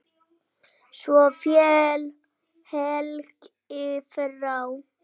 Svo féll Helgi frá.